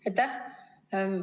Aitäh!